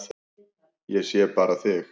Ég sé bara þig!